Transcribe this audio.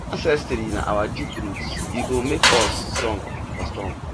ancestry na our deep root e go make us strong for storm